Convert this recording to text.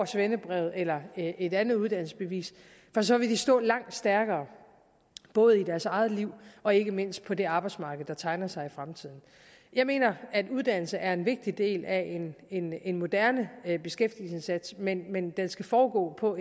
svendebrevet eller et andet uddannelsesbevis så vil de stå langt stærkere både i deres eget liv og ikke mindst på det arbejdsmarked der tegner sig i fremtiden jeg mener at uddannelse er en vigtig del af en en moderne beskæftigelsesindsats men men den skal foregå på